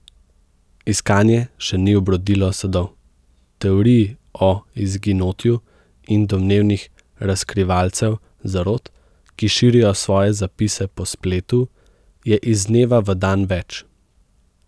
Iskanje še ni obrodilo sadov, teorij o izginotju in domnevnih razkrivalcev zarot, ki širijo svoje zapise po spletu, je iz dneva v dan več.